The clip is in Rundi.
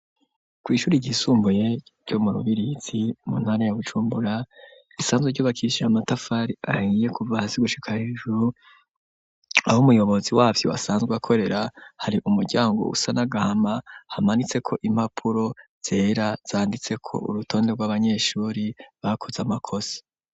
Kw'ishuri ryisumbuye ryo mu Rubirizi mu ntara ya Bujumbura, risanzwe ryubakishije amatafari ahiye kuva hasi gushika hejuru, aho umuyobozi wavyo asanzwe akorera, hari umuryango usa n'agahama, hamanitseko impapuro zera zanditse ko urutonde rw'abanyeshuri, bakoze amakosa.